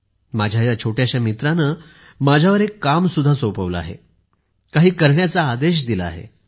माझ्या या छोट्याशा मित्राने माझ्यावर एक काम सुद्धा सोपवले आहे काही करण्याचा आदेश दिला आहे